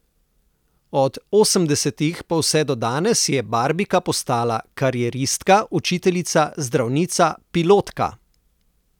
Od osemdesetih pa vse do danes je Barbika postala karieristka, učiteljica, zdravnica, pilotka ...